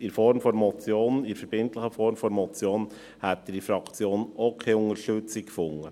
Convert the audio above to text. In der verbindlichen Form einer Motion hätte er in der Fraktion auch keine Unterstützung gefunden.